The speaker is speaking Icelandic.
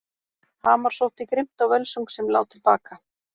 Hamar sótti grimmt á völsung sem lá til baka.